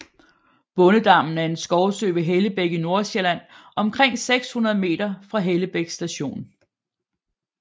Bondedammen er en skovsø ved Hellebæk i Nordsjælland omkring 600 meter fra Hellebæk Station